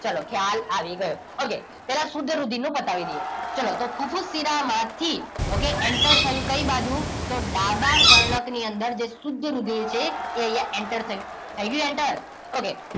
ચાલો ખ્યાલ આવી ગયો okay પહેલા શુદ્ધ રુધિરનું પતાવી દઈએ ચલો તો ફુફુસ શિરામાં થી okay enter થયું કઈ બાજુ તો ડાબા કર્ણક ની અંદર જે શુદ્ધ રુધિર છે એ અહીંયા enter થયું થઈ ગયું enter okay